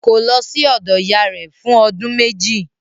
Kò lọ sí ọ̀dọ̀ ìyá rẹ̀ fún ọdún méjì